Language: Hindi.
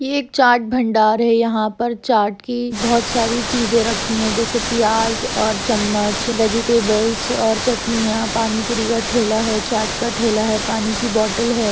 यह एक चाट भंडार है यहाँ पर चाट की बहुत सारी चीज़े रखी है जैसे प्याज और चम्मच वेजिटेबलस और चटनियां पानी पुरी का ठेला है चाट का ठेला है पानी की बॉटल है।